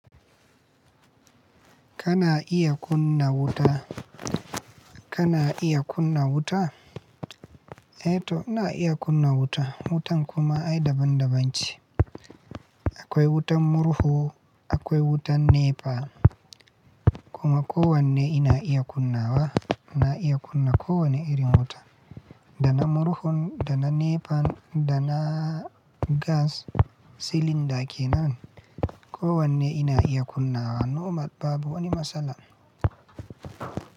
Kana iya kunna wuta? Kana iya kunna wuta? Eto ina iya kunna wuta. Wutan kuma ai daban-daban ce. Akwai wutan murhu, akwai wutan NEPA kuma kowanne ina iya kunna wa. Ina iya kunna kowane iri wuta. Dana murhun, dana NEPA, da na gas cylinder kenan. Kowanne ina iya kunna wa nomal babu wani matsala.